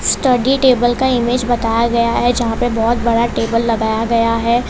Study table का image बताया गया है जहां पे बहुत बड़ा टेबल लगाया गया है।